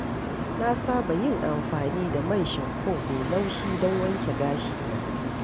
Na saba yin amfani da man shamfo mai laushi don wanke gashina.